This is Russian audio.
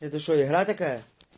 это что игра такая